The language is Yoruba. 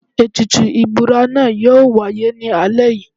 Ètùtù ìbúra náà yóò wáyé ní alẹ́ yìí.